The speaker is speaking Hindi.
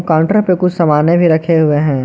काउंटर पे कुछ समाने भी रखे हुए हैं।